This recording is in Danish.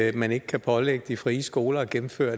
at man ikke kan pålægge de frie skoler at gennemføre